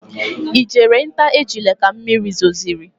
Ị jere nta ejula ka mmiri zosiri?